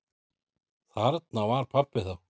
Þarna var pabbi þá.